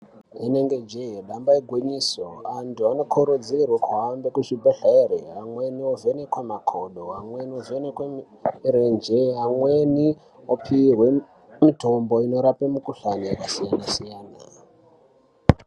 Inenge jee damba igwinyiso, antu anokurudzirwe kuhambe kuzvibhedhlere ,amweni ovhenekwa makodo ,amweni ovhenekwe mirenje ,amweni opuwe mitombo inorape mukhuhlane yakasiyana siyana.